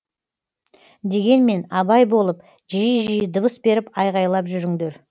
дегенмен абай болып жиі жиі дыбыс беріп айғайлап жүріңдер